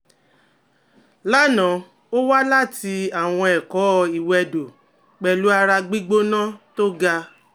l'ana o wa lati awọn ẹkọ iwedo pẹlu ara gbigbona toga